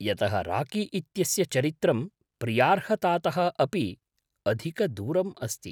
यतः राकी इत्यस्य चरित्रं प्रियार्हतातः अपि अधिकदूरम् अस्ति।